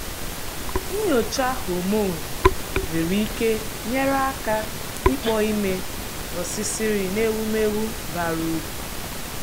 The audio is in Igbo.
nnyocha hormone nwere ike nyere aka ịkpọ ime osisir n’ewumewụ bara uru.